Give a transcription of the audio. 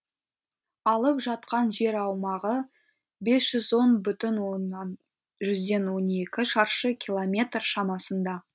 алып жатқан жер аумағы бес жүз он бүтін жүзден он екі шаршы километр шамасында